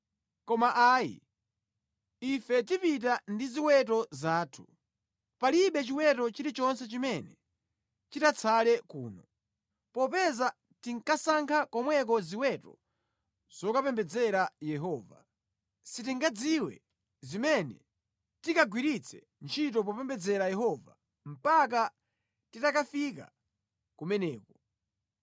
Koma ayi, ife tipita ndi ziweto zathu. Palibe chiweto chilichonse chimene chitatsale kuno, popeza tikasankha komweko ziweto zokapembedzera Yehova. Sitingadziwe zimene tikagwiritse ntchito popembedza Yehova mpaka titakafika kumeneko.”